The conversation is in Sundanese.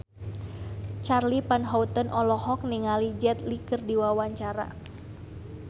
Charly Van Houten olohok ningali Jet Li keur diwawancara